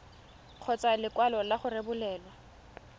kgotsa lekwalo la go rebolelwa